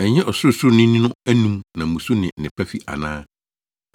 Ɛnyɛ Ɔsorosoroni no anom na mmusu ne nnepa fi ana?